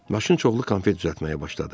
Maşın çoxlu konfet düzəltməyə başladı.